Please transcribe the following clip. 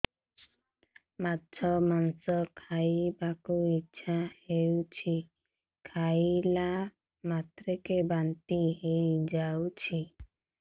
ମାଛ ମାଂସ ଖାଇ ବାକୁ ଇଚ୍ଛା ହଉଛି ଖାଇଲା ମାତ୍ରକେ ବାନ୍ତି ହେଇଯାଉଛି